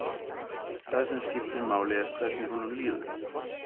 Það sem skiptir máli er hvernig honum líður.